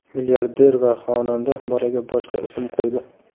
Milliarder va xonanda bolaga boshqa ism qo‘ydi.